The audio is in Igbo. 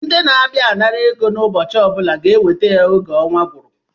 Ndị na-abịa anara ego ụbọchị ọbụla ga-enweta ya n’oge ọnwa gụrụ